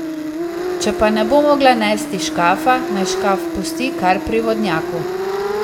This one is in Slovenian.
Če pa ne bo mogla nesti škafa, naj škaf pusti kar pri vodnjaku.